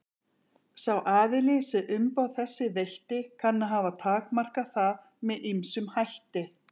Sá aðili sem umboð þessi veitti kann að hafa takmarkað það með ýmsum hætti.